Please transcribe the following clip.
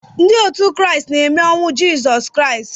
Ndị Kraịst na-eme ememe ọnwụ Jizọs Kraịst